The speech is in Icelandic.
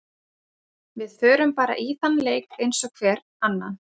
Við förum bara í þann leik eins og hvern annan.